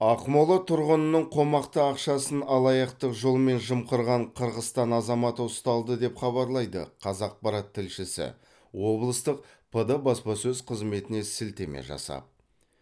ақмола тұрғынының қомақты ақшасын алаяқтық жолмен жымқырған қырғызстан азаматы ұсталды деп хабарлайды қазақпарат тілшісі облыстық пд баспасөз қызметіне сілтеме жасап